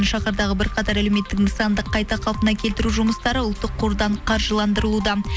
шахардағы бірқатар әлеуметтік нысанды қайта қалпына келтіру жұмыстары ұлттық қордан қаржыландырылуда